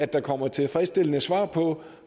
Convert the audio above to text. der kommer tilfredsstillende svar på